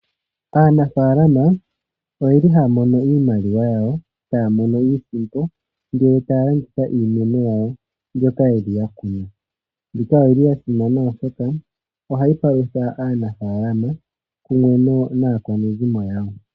Aanafalama ohaya mono iimaliwa iisimpo yawo ngele ya landitha iimeno yawo mbyoka ya kuna. Oyili yasimana oshoka phayi palutha aanafalama naakwanezimo yawo.